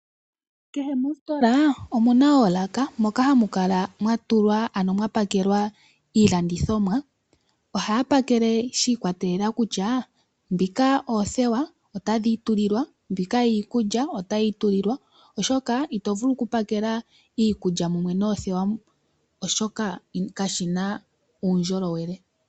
Kehe mositola omu na oolaka moka hamu kala mwa pakelwa iilandithomwa. Ohaya pakele shi ikwatelela kutya ndhika oothewa otadhi itulilwa, mbika iikulya otayi itulilwa, oshoka ito vulu okupakela iikulya mumwe noothewa, oshoka kashi na uundjolowele.